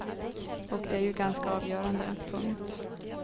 Och det är ju ganska avgörande. punkt